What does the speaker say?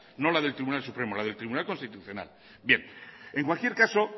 no la del tribunal supremo la del tribunal constitucional bien en cualquier caso